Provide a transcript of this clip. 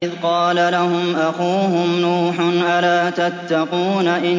إِذْ قَالَ لَهُمْ أَخُوهُمْ نُوحٌ أَلَا تَتَّقُونَ